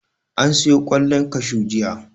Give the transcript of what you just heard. An siyo ƙwallon kashu jiya.